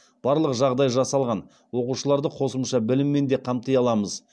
барлық жағдай жасалған оқушыларды қосымша біліммен де қамти аламыз